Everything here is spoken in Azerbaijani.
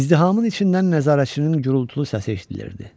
İzdihamın içindən nəzarətçinin gurultulu səsi eşidilirdi.